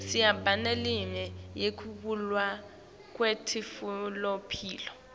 siba neleminye yekuvulwa kwemitfolamphilo